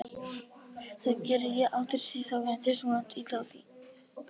Í fremstu röð voru tveir bekkir með baki og fyrir framan þá laus borð.